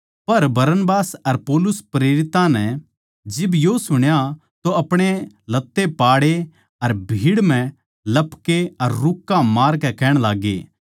पर बरनबास अर पौलुस प्रेरितां नै जिब यो सुण्या तो अपणे लत्ते पाड़े अर भीड़ म्ह लपके अर रूक्का मारकै कहण लाग्गे